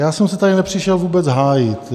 Já jsem se tady nepřišel vůbec hájit.